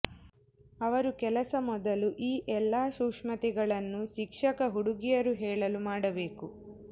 ಅವರು ಕೆಲಸ ಮೊದಲು ಈ ಎಲ್ಲಾ ಸೂಕ್ಷ್ಮತೆಗಳನ್ನು ಶಿಕ್ಷಕ ಹುಡುಗಿಯರು ಹೇಳಲು ಮಾಡಬೇಕು